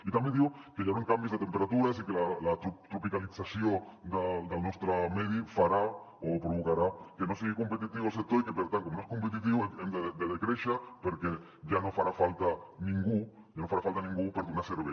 i també diu que hi hauran canvis de temperatures i que la tropicalització del nostre medi farà o provocarà que no sigui competitiu el sector i per tant com que no és competitiu hem de decréixer perquè ja no farà falta ningú per donar servei